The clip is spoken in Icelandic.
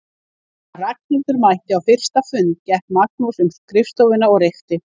Þegar Ragnhildur mætti á fyrsta fundinn gekk Magnús um skrifstofuna og reykti.